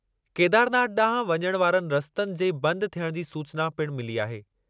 केदारनाथ ॾांहुं वञणु वारनि रस्तनि जे बंदि थियणु जी सूचना पिणु मिली आहे।